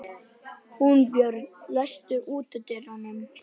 Húnbjörg, læstu útidyrunum.